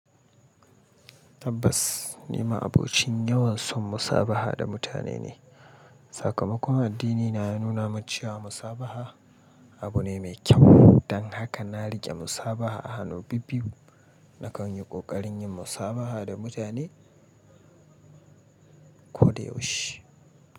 Tabbas, ni ma abokin yawan son musabaha da mutane ne. Sakamakon addinina ya nuna min cewa musabaha abu ne mai kyau. Don haka na riƙe musabaha a hannu bibbiyu na kan yi ƙoƙarin yin musabaha da mutane ko da yaushe.